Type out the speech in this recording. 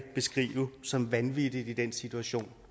beskrive som vanvittigt i den situation